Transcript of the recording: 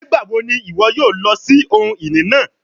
Nigbawo ni iwọ yoo lọ si ohun-ini naa?